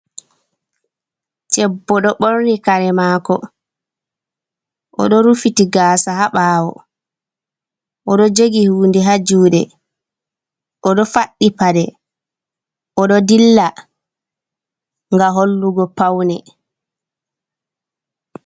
Ɗebbo ɗo ɓorni kare mako oɗo rufiti gaasa ha bawo oɗo jogi hunde ha juɗe oɗo faddi paɗe oɗo dilla ga hollugo paune.